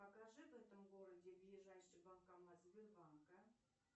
покажи в этом городе ближайший банкомат сбербанка